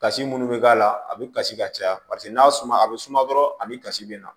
Kasi minnu bɛ k'a la a bɛ kasi ka caya paseke n'a suma a bɛ suma dɔrɔn ani kasi bɛ na